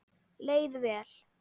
Leið vel.